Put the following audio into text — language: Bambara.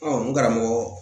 n karamɔgɔ